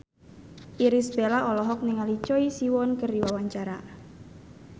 Irish Bella olohok ningali Choi Siwon keur diwawancara